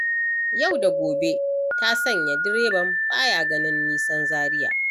Yau da gobe ta sanya direban baya ganin nisan Zaria.